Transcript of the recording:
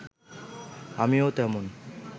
আমিও তেমন